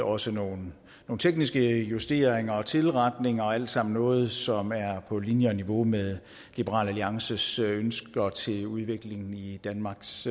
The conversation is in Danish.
også nogle tekniske justeringer og tilretninger og alt sammen noget som er på linje og niveau med liberal alliances ønsker til udviklingen i danmarks